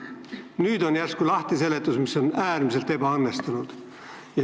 Nüüd on järsku olemas seletus, mis on äärmiselt ebaõnnestunud.